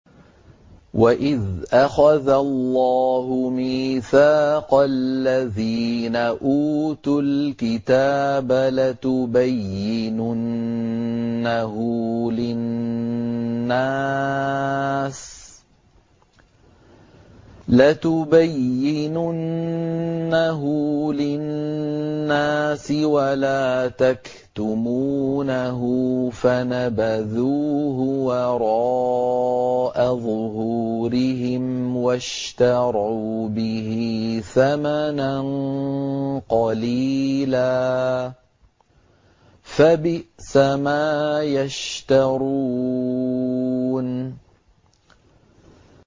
وَإِذْ أَخَذَ اللَّهُ مِيثَاقَ الَّذِينَ أُوتُوا الْكِتَابَ لَتُبَيِّنُنَّهُ لِلنَّاسِ وَلَا تَكْتُمُونَهُ فَنَبَذُوهُ وَرَاءَ ظُهُورِهِمْ وَاشْتَرَوْا بِهِ ثَمَنًا قَلِيلًا ۖ فَبِئْسَ مَا يَشْتَرُونَ